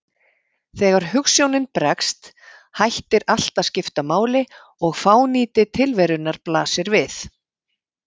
Þegar hugsjónin bregst, hættir allt að skipta máli og fánýti tilverunnar blasir við.